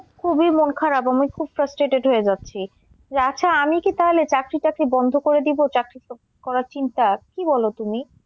খুবই মন খারাপ আমি খুব frustrated হয়ে যাচ্ছি। আচ্ছা আমি কি তাহলে চাকরি টাকরি বন্ধ করে দিবো চাকরি করার চিন্তা কি বলো তুমি?